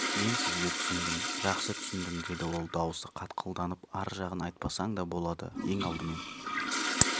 мен сізді түсіндім жақсы түсіндім деді ол даусы қатқылданып ар жағын айтпасаң да болады ең алдымен